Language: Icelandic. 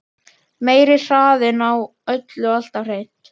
Meiri hraðinn á öllu alltaf hreint.